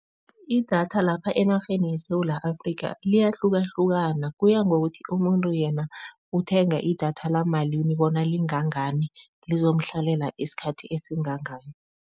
Idatha lapha enarheni yeSewula Afrika, liyahlukahlukana kuya ngokuthi umuntu yena uthenga idatha lamalini, bona lingangani, lizomhlalela isikhathi esingangani.